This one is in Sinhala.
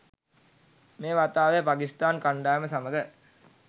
මේ වතාවේ පකිස්තාන් කණ්ඩායම සමඟ